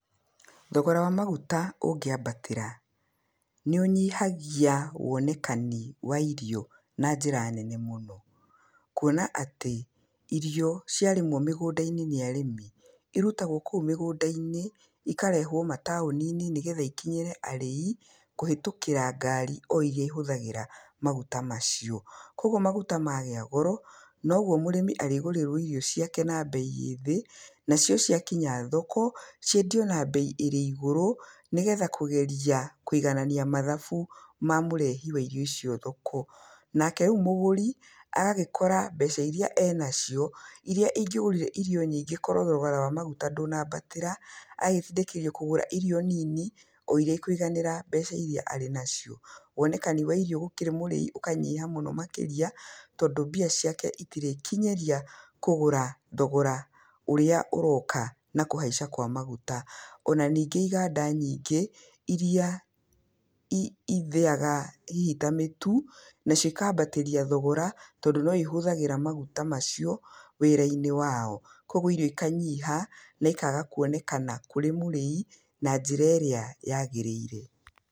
Thogora wa maguta ũngĩambatĩra, nĩ ũnyihagia wonekani wa irio na njĩra nene mũno. Kuona atĩ, irio ciarĩmwo mũgũnda-inĩ nĩ arĩmi, irutagwo kũu mĩgũnda-inĩ ikarehwo mataũni-inĩ nĩgetha ikinyĩre arĩi kũhĩtũkĩra ngari o iria ihũthagĩra maguta macio. Koguo maguta magĩa goro, noguo mũrĩmi arĩgũrĩrwo irio ciake na mbei ĩ thĩ, nacio ciakinya thoko ciendio na mbei ĩrĩ igũrũ nĩgetha kũgeria kũiganania mathabu ma mũrehi wa irio icio thoko. Nake rĩu mũgũri agagĩkora mbeca iria enacio iria ingĩgũrire irio nyĩngĩ korwo thogora wa maguta ndũnambatĩra, agagĩtindĩkĩrĩrio kũgũra irio nini o iria ikũiganĩra mbeca iria arĩ nacio. Wonekani wa irio gũkĩrĩ mũrĩi ũkanyiha mũno makĩria tondũ mbia ciake itirĩkinyĩria kũgũra thogora ũrĩa ũroka na kũhaica kwa maguta. Ona ningĩ iganda nyingĩ, iria ithĩaga hihi ta mĩtu, nacio ikambatĩria thogora tondũ noihũthagĩra maguta macio wĩra-inĩ wao. Koguo irio ikanyiiha na ikaga kuonekana kũrĩ mũrĩi na njĩra ĩrĩa yagĩrĩire.